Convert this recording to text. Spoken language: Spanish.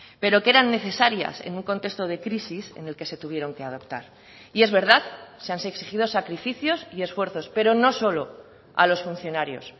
pero que eran necesarias en un contexto de crisis en el que se tuvieron que adoptar y es verdad se han exigido sacrificios y esfuerzos pero no solo a los funcionarios